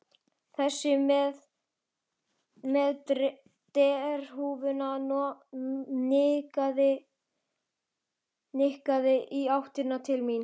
Þessi með derhúfuna nikkaði í áttina til mín.